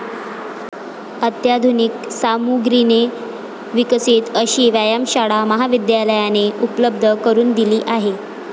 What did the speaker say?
अत्याधुनिक सामुग्रीने विकसित अशी व्यायामशाळा महाविद्यालयाने उपलब्ध करून दिली आहे.